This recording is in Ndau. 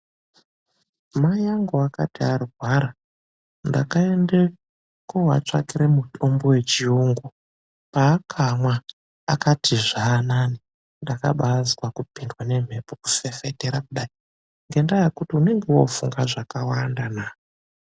Mai angu akati arwara ndakaenda koatsvakira mutombo wechiyungu. Paakamwa akati zvanani. Ndakabazwa kupindwa nemhepo kufefetera kudai ngendaa yekuti unenge wakufunga zvakawandana.